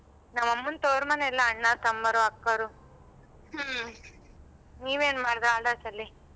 ನಮ್ಮ ಅಮ್ಮಾನ್ ತವರ್ಮನೆ ಎಲ್ಲ ಅಣ್ಣ ತಮ್ಮಾರು ಅಕ್ಕರು ನೀ ಏನ್ ಮಾಡದ holidays ಅಲಿ.